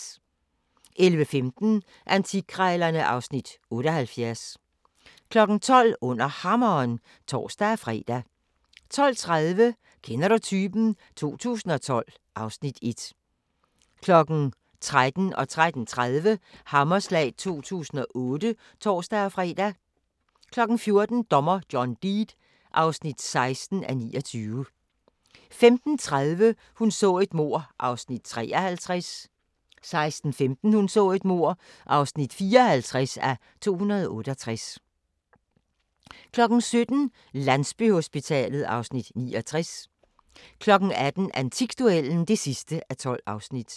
11:15: Antikkrejlerne (Afs. 78) 12:00: Under Hammeren (tor-fre) 12:30: Kender du typen? 2012 (Afs. 1) 13:00: Hammerslag 2008 (tor-fre) 13:30: Hammerslag 2008 (tor-fre) 14:00: Dommer John Deed (16:29) 15:30: Hun så et mord (53:268) 16:15: Hun så et mord (54:268) 17:00: Landsbyhospitalet (Afs. 69) 18:00: Antikduellen (12:12)